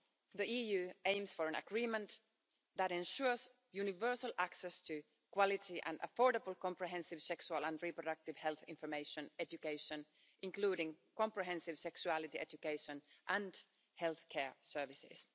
The EU aims for an agreement that ensures universal access to quality and affordable comprehensive sexual and reproductive health information, education, including comprehensive sexuality education and healthcare services.